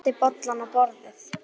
Gunnar setti bollana á borðið.